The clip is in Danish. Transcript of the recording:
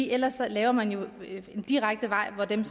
ellers laver man jo en direkte vej hvor dem